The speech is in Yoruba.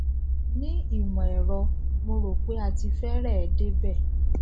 ni imọẹrọ mo rò pé a ti fẹrẹẹ débẹ